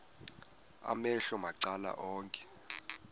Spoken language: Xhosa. amehlo macala onke